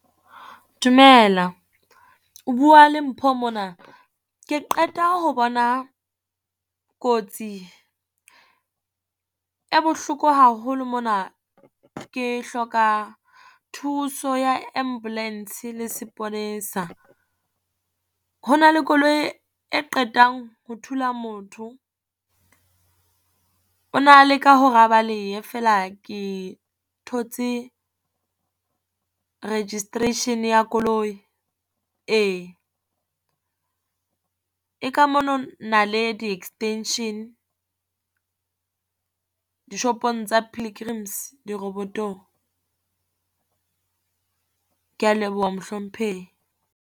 Dumela o bua le Mpho mona, ke qeta ho bona kotsi e bohloko haholo mona, ke hloka thuso ya ambulance le sepolesa. Ho na le koloi e qetang ho thula motho, o na leka hore a balehe feela e thotse registration ya koloi, ee. E ka mono Naledi extension dishopong tsa Pilgrim's di-robot-ong. Ke ya leboha mohlomphehi.